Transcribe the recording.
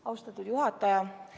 Austatud juhataja!